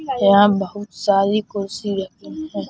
यहां बहुत सारी कुर्सी रखी है।